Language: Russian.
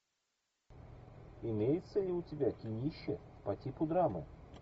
имеется ли у тебя кинище по типу драмы